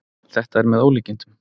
Þetta er með ólíkindum